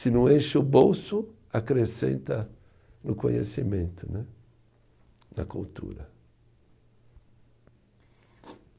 Se não enche o bolso, acrescenta no conhecimento né, na cultura.